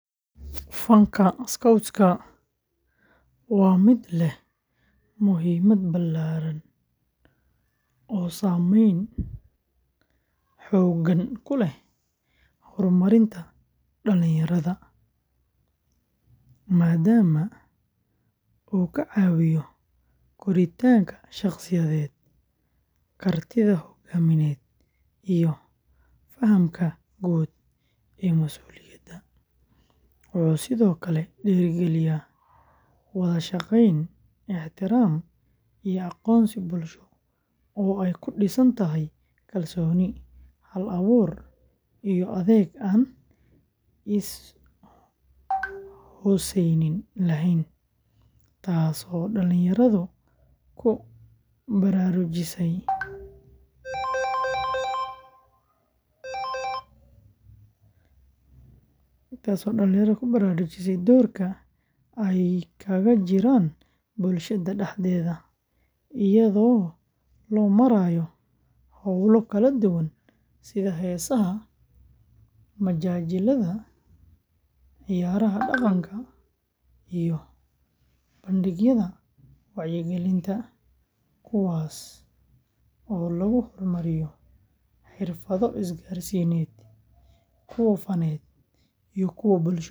Fanka Scouts-ka waa mid leh muhiimad ballaaran oo saameyn togan ku leh horumarinta dhalinyarada, maadaama uu ka caawiyo koritaanka shakhsiyadeed, kartida hoggaamineed, iyo fahamka guud ee mas’uuliyadda; wuxuu sidoo kale dhiirrigeliyaa wada shaqeyn, ixtiraam, iyo aqoonsi bulsho oo ay ku dhisan tahay kalsooni, hal-abuur, iyo adeeg aan is-hoosaysiin lahayn, taasoo dhalinyarada ku baraarujisa doorka ay kaga jiraan bulshada dhexdeeda, iyadoo loo marayo hawlo kala duwan sida heesaha, majaajillada, ciyaaraha dhaqanka, iyo bandhigyada wacyigelinta, kuwaasoo lagu hormariyo xirfado isgaarsiineed, kuwa faneed, iyo kuwo bulsho.